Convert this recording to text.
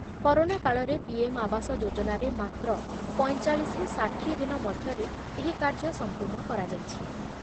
Corona କାଳରେ P M ଆବାସ ଯୋଜନାରେ ମାତ୍ର ପଞ୍ଚଚାଳିଶରୁ ଷାଠିଏ ଦିନ ମଧ୍ୟରେ ଏହି କାର୍ଯ୍ୟ ସମ୍ପୂର୍ଣ କରାଯାଇଛି ।